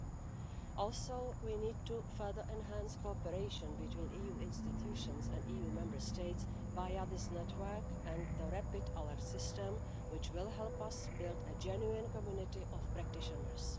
We also need to further enhance cooperation between EU institutions and EU Member States via this network and the Rapid Alert System, which will help us build a genuine community of practitioners.